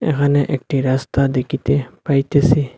এহানে একটি রাস্তা দেকিতে পাইতেসি।